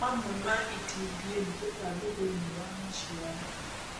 Mamwe ma itindiĩ nĩ tũtambi thĩinĩ wa maciaro